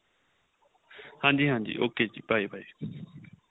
ਹਾਂਜੀ ਹਾਂਜੀ okay ਜ਼ੀ bye bye